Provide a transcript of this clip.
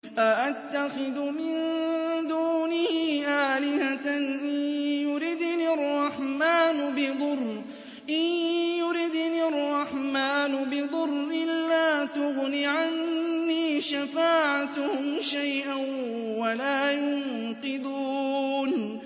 أَأَتَّخِذُ مِن دُونِهِ آلِهَةً إِن يُرِدْنِ الرَّحْمَٰنُ بِضُرٍّ لَّا تُغْنِ عَنِّي شَفَاعَتُهُمْ شَيْئًا وَلَا يُنقِذُونِ